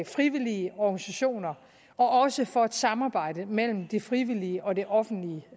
frivillige organisationer og også tradition for et samarbejde mellem det frivillige og det offentlige